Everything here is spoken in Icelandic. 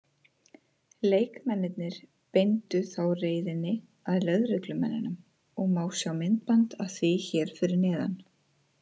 Leikmennirnir beindu þá reiðinni að lögreglumönnunum og má sjá myndband af því hér fyrir neðan.